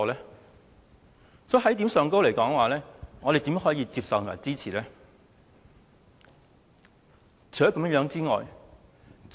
在這一點上，我們怎可以接受及支持有關安排呢？